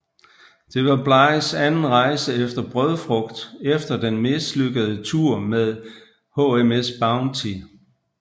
Det var Blighs anden rejse efter brødfrugt efter den mislykkede tur med HMS Bounty